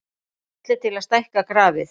Smellið til að stækka grafið.